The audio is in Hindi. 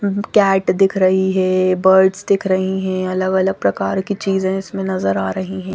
कैट दिख रही है बर्ड्स दिख रही हैं अलग-अलग प्रकार की चीज़े इसमें नज़र आ रही है ।